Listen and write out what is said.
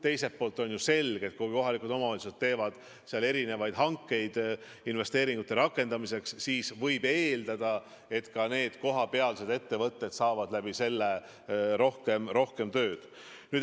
Teiselt poolt on selge, et kui kohalikud omavalitsused teevad hankeid investeeringute rakendamiseks, siis võib eeldada, et ka kohapealsed ettevõtted saavad rohkem tööd.